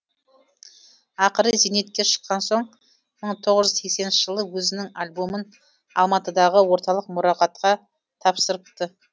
ақыры зейнетке шыққан соң мың тоғыз жүз сексенінші жылы өзінің альбомын алматыдағы орталық мұрағатқа тапсырыпты